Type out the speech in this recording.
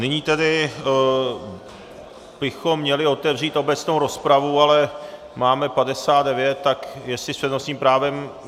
Nyní tedy bychom měli otevřít obecnou rozpravu, ale máme 59, tak jestli s přednostním právem...